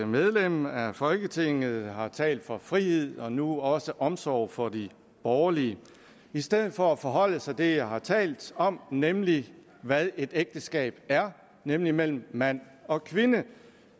medlem af folketinget har talt for frihed og nu også omsorg for de borgerlige i stedet for at forholde sig til det jeg har talt om nemlig hvad et ægteskab er nemlig mellem mand og kvinde